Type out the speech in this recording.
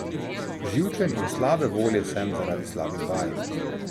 Živčen in slabe volje sem zaradi slabih vaj.